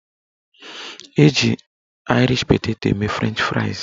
Eji aịrish peteto eme frenchị fraịs